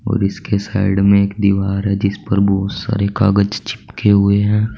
और इसके साइड में एक दीवार है जिस पर बहुत सारे कागज चिपके हुए हैं।